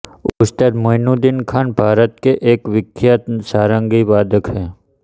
उस्ताद मोइनुद्दीन खान भारत के एक विख्यात सारंगी वादक हैं